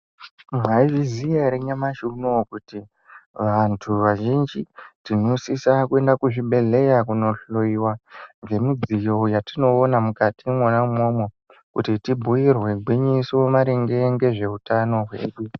Mwaizviziya ere nyamashi unou, kuti vantu vazhinji tinosisa kuenda kuzvibhedhleya kunohloyiwa ngemudziyo yatinoona mukati umwona umwomwo, kuti tibhuirwe gwinyiso maringe ngezveutano hwedu?